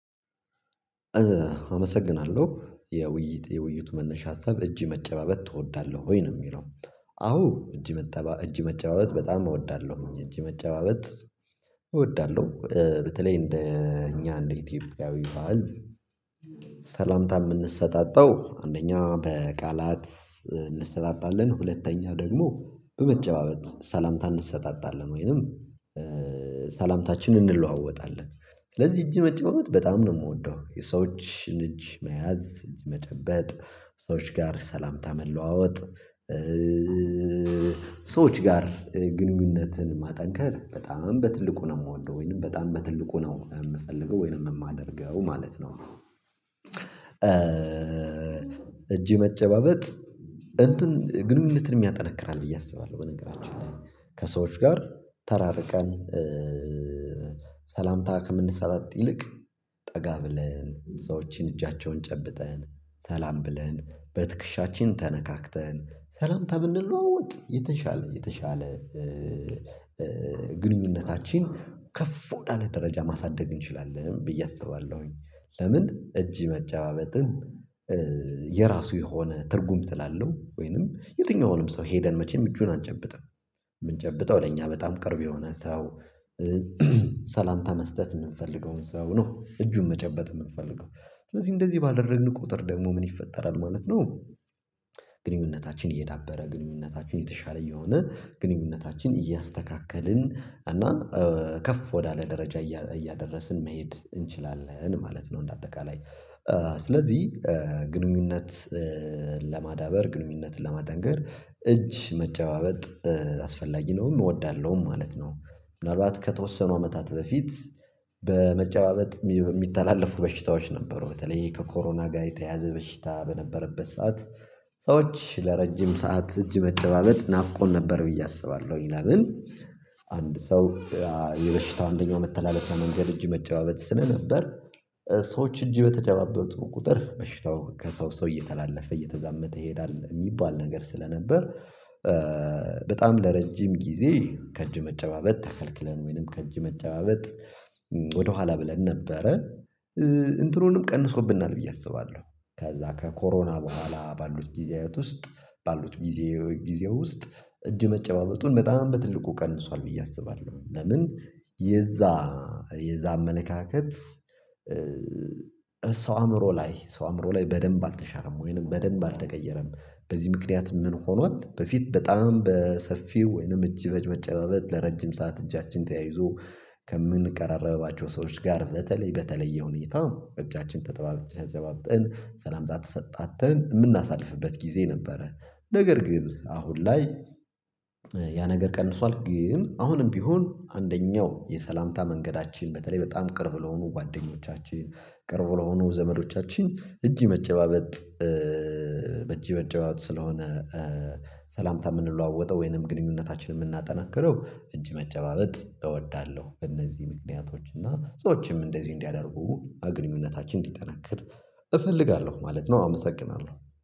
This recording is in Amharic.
አመሰግናለሁ፤ የውይይት የውይይቱ መነሻ ሀሳብ እጅ መጨባበት ትወዳለሁ ወይ ነው የሚለው። አዎ፤ እጅ መጨባበት በጣም እወዳለሁኝ። እጅ መጨባበት እወዳለሁ። በተለይ እንደ እኛ እንደ ኢትዮጵያዊ ባህል ሰላምታ የምንሰጣጣው አንደኛ በቃላት እንሰጣጣለን ሁለተኛው ደግሞ በመጨባበት ሰላምታ እንሰጣጣለን ወይንም ሰላምታችን እንለዋወጣለን። ስለዚህ እጅ መጨባበጥ በጣም ነው የምወደው። የሰዎችን እጅ መያዝ እጅ መጠበጥ ሰዎች ጋር ሰላምታ መለዋወጥ ሰዎች ጋር ግንኙነትን ማጠንከር በጣም በትልቁ ነው የምወደው ወይንም በጣም በትልቁ ነው የምፈልገው ወይንም የማደርገው ማለት ነው። እጅ መጨባበጥ እንትን ግንኙነትንም ያጠነክራል ብዬ አስባለሁ በነገራችን ላይ፤ ከሰዎች ጋር ተራርቀን ሰላምታ ከምንሰጣጥ ይልቅ ጠጋ ብለን ሰዎችን እጃቸውን ጨብጠን ሰላም ብለን በትክሻችን ተነካክተን ሰላምታ ብንለዋወጥ የተሻለ የተሻለ ግንኙነታችን ከፍ ወዳለ ደረጃ ማሳደግ እንችላለን ብዬ አስባለሁኝ። ለምን እጅ መጨባበጥም የራሱ የሆነ ትርጉም ስላለው፤ ወይንም የትኛውንም ሰው ሄደን መቼም እጁን አንጨብጥም። የምንጨብጠው ለኛ በጣም ቅርብ የሆነ ሰው ሰላምታ መስጠት የምንፈልገውን ሰው ነው እጁን መጨበጥ የምንፈልገው። ስለዚህ እንደዚህ ባደረግን ቁጥር ደግሞ ምን ይፈጠራል ማለት ነው ግንኙነታችን እየዳበረ ግንኙነታችን የተሻለ እየሆነ ግንኙነታችን እያስተካከልን እና ከፍ ወዳለ ደረጃ እያደረስን መሄድ እንችላለን ማለት ነው። እንደ አጠቃላይ ስለዚህ ግንኙነት ለማዳበር ግንኙነትን ለማጠንከር እጅ መጨባበጥ አስፈላጊ ነውም እወዳለሁም ማለት ነው። ምናልባት ከተወሰኑ አመታት በፊት በመጨባበጥ ሚተላለፉ በሽታዎች ነበሩ። በተለይ ከኮሮና ጋር የተያያዘ በሽታ በነበረበት ሰዓት ሰዎች ለረጅም ሰዓት እጅ መጨባበጥ ናፍቆን ነበር ብዬ አስባለሁኝ፤ ለምን አንድ ሰው የበሽታው አንደኛው መተላለፊያ መንገድ እጅ መጨባበት ስለነበር ሰዎች እጅ በተጨባበጡ ቁጥር በሽታው ከሰው ሰው እየተላለፈ እየተዛመተ ይሄዳል የሚባል ነገር ስለነበር በጣም ለረጅም ጊዜ ከእጅ መጨባበት ተከልክለን ወይንም ከእጅ መጨባበት ወደኋላ ብለን ነበረ። እንትኑንም ቀንሶብናል ብዬ አስባለሁ ከዛ ከኮሮና በኋላ ባሉት ጊዜያት ውስጥ ባሉት ጊዜ ጊዜ ውስጥ እጅ መጨባበጡን በጣም በትልቁ ቀንሷል ብዬ አስባለሁኝ፤ ለምን የዛ የዛ አመለካከት ሰው አእምሮ ላይ ሰው አእምሮ ላይ በደንብ አልተሻረም ወይንም በደንብ አልተቀየረም በዚህ ምክንያት ምን ሆኗል በፊት በጣም በሰፊው ወይንም እጅ መጨባበጥ ለረጅም ሰዓት እጃችን ተያይዞ ከምንቀራረባቸው ሰዎች ጋር በተለይ በተለየ ሁኔታ እጃችን ተጠባብ ተጨባብጠን ሰላምታ ተሰጣተን የምናሳልፍበት ጊዜ ነበረ። ነገር ግን አሁን ላይ ያ ነገር ቀንሷል ግን አሁንም ቢሆን አንደኛው የሰላምታ መንገዳችን በተለይ በጣም ቅርብ ለሆኑ ጓደኞቻችን ቅርብ ለሆኑ ዘመዶቻችን እጅ መጨባበጥ በእጅ መጨባበጥ ስለሆነ ሰላምታ የምንለዋወጠው ወይንም ግንኙነታችንን የምናጠናክረው እጅ መጨባበጥ እወዳለሁ እነዚህ ምክንያቶች እና ሰዎችም እንደዚህ እንዲያደርጉ ግንኙነታችን እንዲጠናከር እፈልጋለሁ ማለት ነው። አመሰግናለሁ።